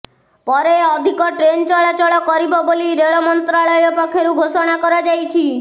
ପରେ ଅଧିକ ଟ୍ରେନ୍ ଚଳାଚଳ କରିବ ବୋଲି ରେଳ ମନ୍ତ୍ରାଳୟ ପକ୍ଷରୁ ଘୋଷଣା କରାଯାଇଛି